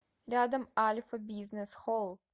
рядом альфа бизнес холл